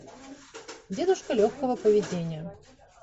дедушка легкого поведения